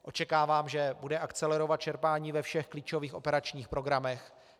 Očekávám, že bude akcelerovat čerpání ve všech klíčových operačních programech.